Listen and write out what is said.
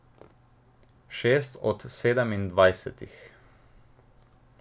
Šest od sedemindvajsetih.